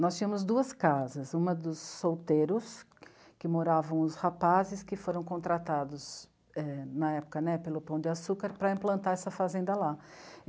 Nós tínhamos duas casas, uma dos solteiros, que moravam os rapazes que foram contratados é... na época pelo Pão de Açúcar para implantar essa fazenda lá.